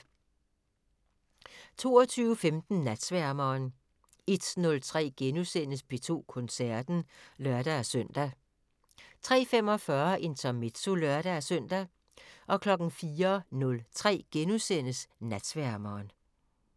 22:15: Natsværmeren 01:03: P2 Koncerten *(lør-søn) 03:45: Intermezzo (lør-søn) 04:03: Natsværmeren *